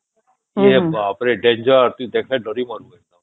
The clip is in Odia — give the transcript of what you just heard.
ଏ ବାପ ରେ danger ତୁ ଦେଖିଲେ ଡରି ମରିବୁ ଏକଦମ